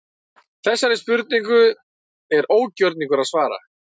Þessari spurningu er ógjörningur að svara.